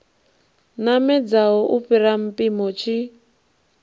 namedzaho u fhira mpimo tshi